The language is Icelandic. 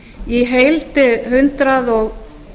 í heild hundrað og